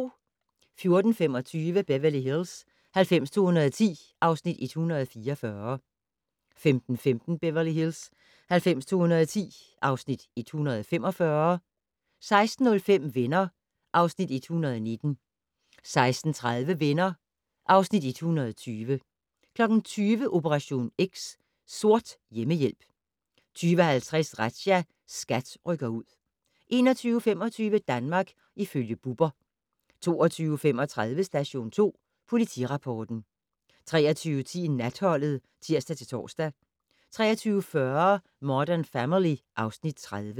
14:25: Beverly Hills 90210 (Afs. 144) 15:15: Beverly Hills 90210 (Afs. 145) 16:05: Venner (Afs. 119) 16:30: Venner (Afs. 120) 20:00: Operation X: Sort hjemmehjælp 20:50: Razzia - SKAT rykker ud 21:25: Danmark ifølge Bubber 22:35: Station 2 Politirapporten 23:10: Natholdet (tir-tor) 23:40: Modern Family (Afs. 30)